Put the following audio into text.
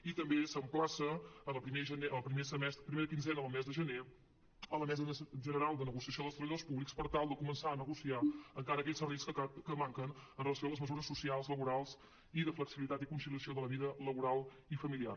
i també s’emplaça en la primera quinzena del mes de gener la mesa general de negociació dels treballadors públics per tal de començar a negociar encara aquells serrells que manquen amb relació a les mesures socials laborals i de flexibilitat i conciliació de la vida laboral i familiar